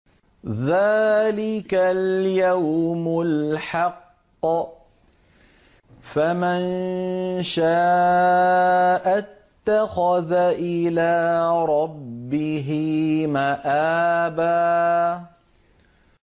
ذَٰلِكَ الْيَوْمُ الْحَقُّ ۖ فَمَن شَاءَ اتَّخَذَ إِلَىٰ رَبِّهِ مَآبًا